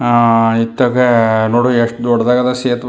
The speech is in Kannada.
ಅಹ್ ಇತ್ತಗೆ ನೋಡ್ ಎಷ್ಟ ದೊಡ್ಡದಾಗಿದೆ ಸೆತವೇ --